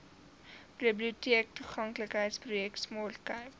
biblioteektoeganklikheidsprojek smart cape